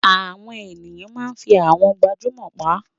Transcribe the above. Àwọn ènìyàn máa ń fi àwọn gbajúmọ̀ pa